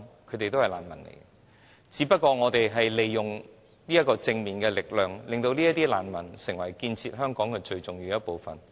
這些人全是難民，我們只不過利用了正面力量，令這些難民成為建設香港最重要的一部分。